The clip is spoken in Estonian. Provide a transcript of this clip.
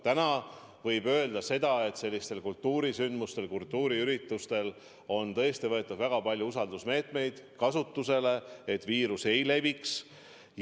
Aga täna võib öelda, et sellistel kultuurisündmustel, kultuuriüritustel on tõesti võetud kasutusele väga palju usaldusmeetmeid, et viirus ei leviks.